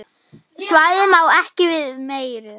Svæðið má ekki við meiru.